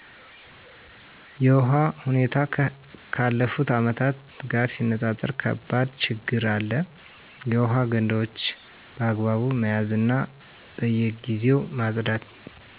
የውሃ ሁኔታው ካለፍቱ ዓመት ጋር ሲነፃፀር ከባድ ችግር አለ። የውሃ ገንዳዎች በአግባብ መያዝ በየግዜው ማፅዳት